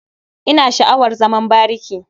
Ina sha'awar zaman bariki.